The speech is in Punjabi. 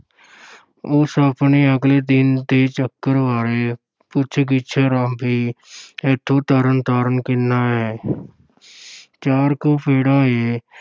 ਉਸ ਆਪਣੇ ਅਗਲੇ ਦਿਨ ਦੇ ਚੱਕਰ ਬਾਰੇ ਪੁੱਛ-ਗਿੱਛ ਅਰੰਭੀ ਇੱਥੋਂ ਤਰਨਤਾਰਨ ਕਿੰਨਾ ਏ ਚਾਰ ਕੋਹ ਪੈਂਡਾ ਏ।